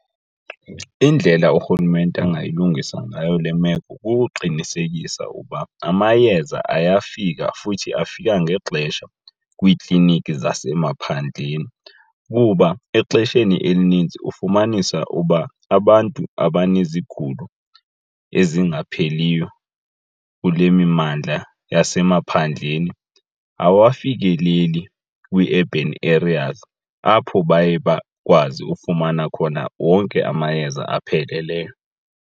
Indlela urhulumente angayilungisa ngayo le meko kukuqinisekisa ukuba amayeza ayafika futhi afika ngexesha kwiikliniki zasemaphandleni. Kuba exesheni elinintsi ufumanisa uba abantu abanezigulo ezingapheliyo kule mimandla yasemaphandleni awafikeleli kwii-urban areas apho baye bakwazi ufumana khona wonke amayeza apheleleyo.